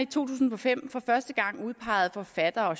tusind og fem for første gang udpegede forfattere og